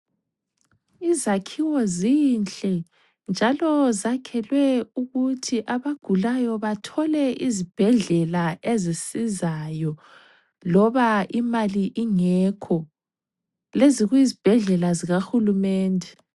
Izakhiwo zinhle njalo zakhelwe ukuthi abagulayo bathole izibhedlela ezisizayo loba imali ingekho ,lezi kuyizibhedlela zikahulumende.